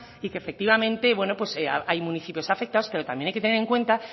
y que efectivamente hay municipios afectados pero también hay que tener en cuenta